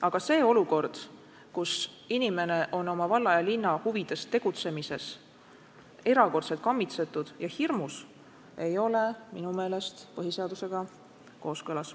Aga see olukord, kus inimene on oma valla ja linna huvides tegutsemisel erakordselt kammitsetud ja hirmul, ei ole minu meelest põhiseadusega kooskõlas.